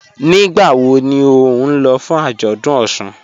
Nígbàwọ̀ ní o ní lọ̀ fún ajọ́dún Ọṣun?